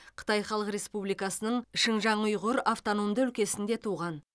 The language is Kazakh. қытай халық республикасының шыңжаң ұйғыр автономды өлкесінде туған